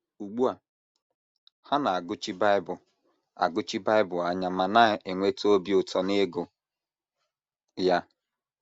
Ugbu a, ha na - agụchi Bible - agụchi Bible anya ma na - enweta obi ụtọ n’ịgụ ya.